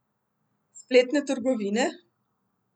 Spletne trgovine?